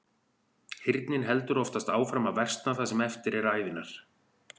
Heyrnin heldur oftast áfram að versna það sem eftir er ævinnar.